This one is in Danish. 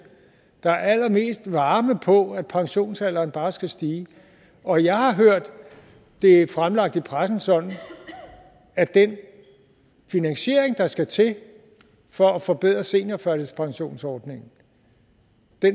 der er allermest varme på at pensionsalderen bare skal stige og jeg har hørt det fremlagt i pressen sådan at den finansiering der skal til for at forbedre seniorførtidspensionsordningen